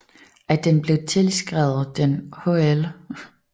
At den blev tilskrevet den hl